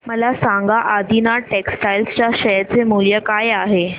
मला सांगा आदिनाथ टेक्स्टटाइल च्या शेअर चे मूल्य काय आहे